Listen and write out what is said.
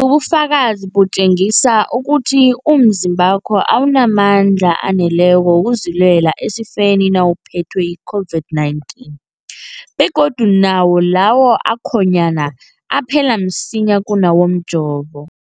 ubufakazi butjengisa ukuthi umzimbakho awunamandla aneleko wokuzilwela esifeni nawuphethwe yi-COVID-19, begodu nawo lawo akhonyana aphela msinyana kunawomjovo.